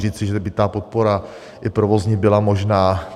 Říci, že by ta podpora, i provozní, byla možná.